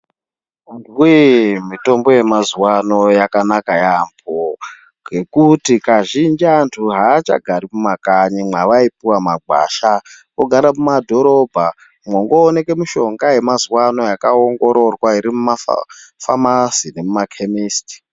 Antuwe mitombo yemazuwa ano yakanaka yamho ngekuti kazhinji antu achagari mumakanyi mwaaipuwa magwasha ogara mumadhorobha mwongooneka mishonga yemazuwa akaongororwa iri mumafamasi nemumakemesiti.